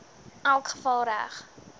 elk geval reg